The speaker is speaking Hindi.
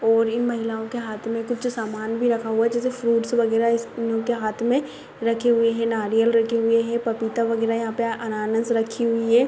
और इन महिलाओं के हाथ में कुछ सामान भी रखा हुआ है जैसे फ्रूट्स वगैरा उनके हाथ में रखे हुए हैं नारियल रखे हुए हैं पपीता वगैरा यहाँ पे अनानस रखी हुई है।